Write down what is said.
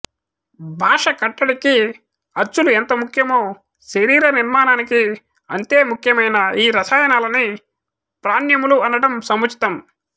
భాష కట్టడికి అచ్చులు ఎంత ముఖ్యమో శరీర నిర్మాణానికి అంతే ముఖ్యమయిన ఈ రసాయనాలని ప్రాణ్యములు అనటం సముచితం